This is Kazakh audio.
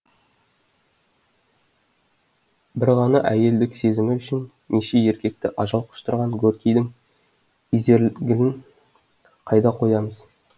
бір ғана әйелдік сезімі үшін неше еркекті ажал құштырған горькийдің изергилін қайда қоямыз